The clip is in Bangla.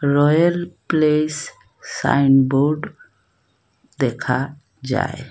রয়েল প্লেস সাইন বোর্ড দেখা যায়।